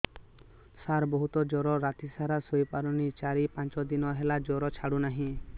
ସାର ବହୁତ ଜର ରାତି ସାରା ଶୋଇପାରୁନି ଚାରି ପାଞ୍ଚ ଦିନ ହେଲା ଜର ଛାଡ଼ୁ ନାହିଁ